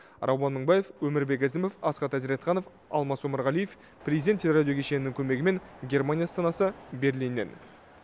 рауан мыңбаев өмірбек ізімов асхат әзіретханов алмас омарғалиев президент телерадио кешенінің көмегімен германия астанасы берлиннен